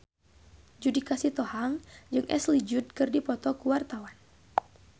Judika Sitohang jeung Ashley Judd keur dipoto ku wartawan